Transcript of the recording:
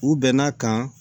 U bɛn'a kan